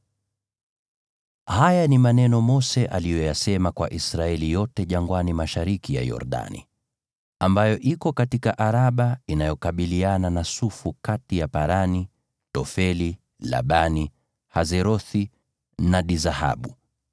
Haya ni maneno Mose aliyoyasema kwa Israeli yote jangwani mashariki ya Yordani, ambayo iko Araba, inayokabiliana na Sufu, kati ya Parani na Tofeli, Labani, Haserothi na Dizahabu.